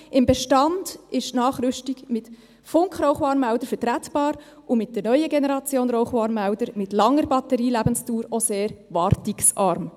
Im Bestand sei die Nachrüstung mit Funkrauchwarnmeldern vertretbar, und mit der neuen Generation Rauchwarnmelder, mit langer Batterielebensdauer, auch sehr wartungsarm.